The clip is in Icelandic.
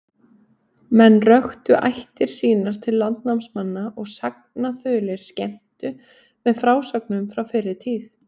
Menn röktu ættir sínar til landnámsmanna, og sagnaþulir skemmtu með frásögnum frá fyrri tíð.